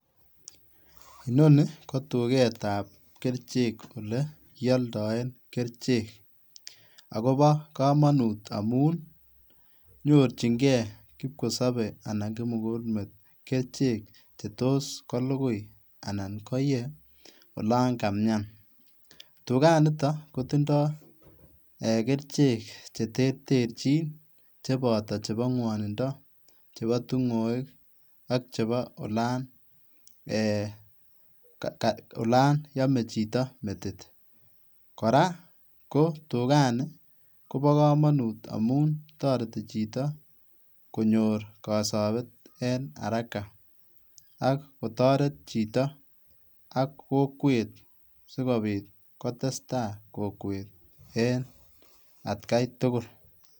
Inoni ko tuketab kerichek olekiodoen kerichek akobo komonut amun nyorchinkee kipkosobe anan kimukulmet kerichek chetos kolukui anan koyee olon kamian, tukaniton kotindo kerichek cheterterchin cheboto chebo ng'wonindo, chebo ting'oek ak chebo olan eeh olan omee chito metit, kora ko tukani kobokomonut amun toreti chito konyor kosobet en haraka akotoret chito ak kokwet sikopit kotestaa kokwet en atkai tukul.